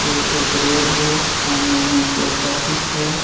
ये एक रोड हे सामने मे पोस्ट ऑफिस हे.